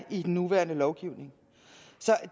i den nuværende lovgivning